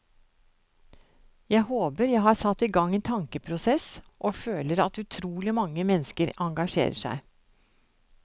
Jeg håper jeg har satt i gang en tankeprosess, og føler at utrolig mange mennesker engasjerer seg.